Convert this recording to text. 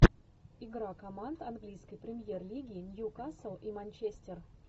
игра команд английской премьер лиги ньюкасл и манчестер